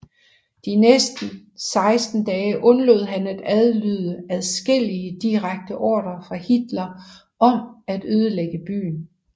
De næste 16 dage undlod han at adlyde adskillige direkte ordrer fra Hitler om at ødelægge byen